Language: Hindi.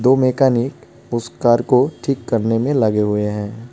दो मैकानिक उस कार को ठीक करने में लगे हुए हैं.